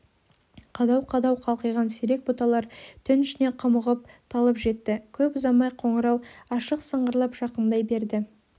қадау-қадау қалқиған сирек бұталар түн ішінен құмығып талып жетті көп ұзамай қоңырау ашық сыңғырлап жақындай берді